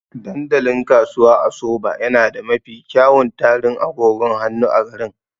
Dandalin Kasuwa a Soba yana da mafi kyawun tarin agogon hannu a garin.